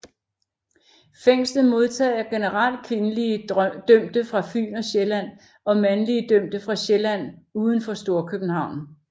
Fængslet modtager generelt kvindelige dømte fra Fyn og Sjælland og mandlige dømte fra Sjælland uden for Storkøbenhavn